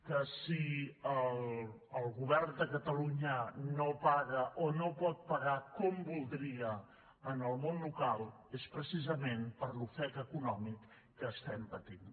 que si el govern de catalunya no paga o no pot pagar com voldria al món local és precisament per l’ofec econòmic que estem patint